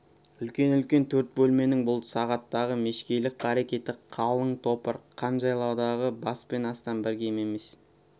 үлкен-үлкен төрт бөлменің бұл сағаттағы мешкейлік қарекеті қалын топыр қан жайлаудағы бәс пен астан бір кем емес